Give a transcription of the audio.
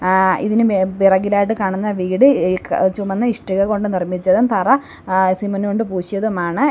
ആഹ് ഇതിന് മേ പിറകിലായിട്ട് കാണുന്ന വീട് ഏഹ് ചുമന്ന ഇഷ്ടിക കൊണ്ട് നിർമ്മിച്ചതും തറ ആഹ് സിമൻറ് കൊണ്ട് പൂശിയതുമാണ്.